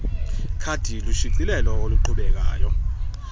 khadi lushicilelo oluqhubekayo